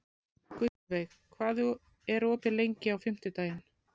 Gullveig, hvað er opið lengi á fimmtudaginn?